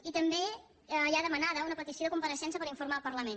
i també hi ha demanada una pe·tició de compareixença per informar·ne el parlament